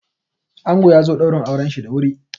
Ango yazo ɗaurin auranshi da wuri.